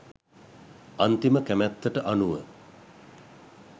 අන්තිම කැමැත්තට අනුව